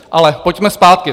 Ale pojďme zpátky.